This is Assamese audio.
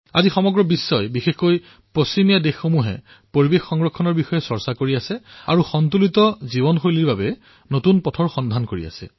আজি সমগ্ৰ বিশ্ব বিশেষ ৰূপত পশ্চিমীয়া দেশৰ পৰিবেশ সংৰক্ষণৰ চৰ্চা কৰি আছে আৰু সন্তুলিত জীৱনশৈলী ভাৰসাম্য জীৱনৰ বাবে নতুন পথৰ সন্ধান কৰি আছে